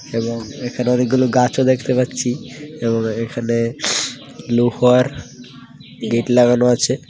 এবং এখানে অনেকগুলো গাছও দেখতে পাচ্ছি এবং এখানে লৌহার গেট লাগানো আছে .